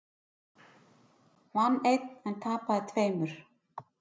Vann einn en tapaði tveimur